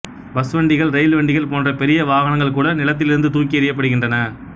பஸ்வண்டிகள் rail வண்டிகள் போன்ற பெரிய வாகனங்கள் கூட நிலத்திலிருந்து தூக்கி எறியப்படுகின்றன